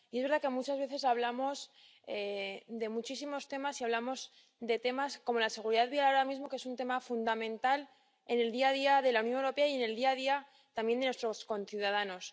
Y es verdad que muchas veces hablamos de muchísimos temas y hablamos de temas, como la seguridad vial, ahora mismo, que es un tema fundamental en el día a día de la Unión Europea y en el día a día también de nuestros conciudadanos.